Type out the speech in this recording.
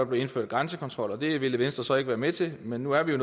blev indført grænsekontrol det ville venstre så ikke være med til men nu er vi jo